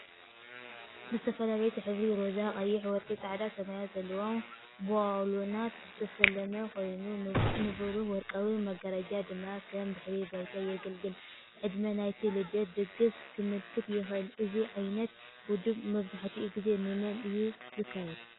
ብዝተፈላለየ ሕብሪ (ሮዛ፡ ቀይሕ፡ ወርቂ፡ ጻዕዳ፡ ሰማያዊ) ዘለዎም ባሎናት ዝተሰለመ ኮይኑ፡ ንብሩህ ወርቃዊ መጋረጃ ድማ ከም ድሕረ ባይታ የገልግል። ዕድመ ናይቲ ልደት ድግስ ከመልክት ይኽእል። እዚ ዓይነት ውድብ መብዛሕትኡ ግዜ ንመን እዩ ዝካየድ?